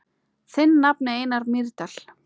Þinn nafni, Einar Mýrdal.